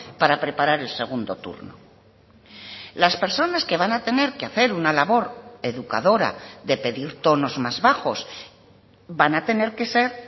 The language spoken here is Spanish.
para preparar el segundo turno las personas que van a tener que hacer una labor educadora de pedir tonos más bajos van a tener que ser